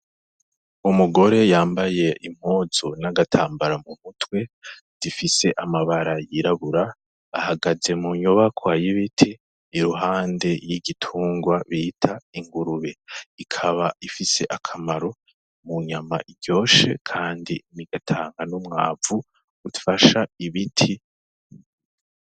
Umugore yambaye impuzu n'agatambara mu mutwe zifise amabara yirabura ihagaze mu nyubakwa y'ibiti iruhande y'igitunrwa bita ingurube. Ikaba ifise akamaro mu nyama iryoshe kandi igatanga n'umwavu ufasha ibiti.